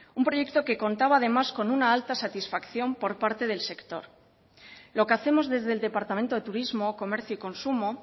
un proyecto que contaba además con una alta satisfacción por parte del sector lo que hacemos desde el departamento de turismo comercio y consumo